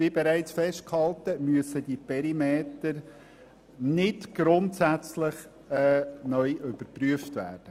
Wie bereits festgehalten, müssen die Perimeter nicht grundsätzlich neu überprüft werden.